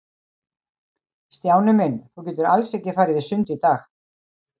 Stjáni minn, þú getur alls ekki farið í sund í dag.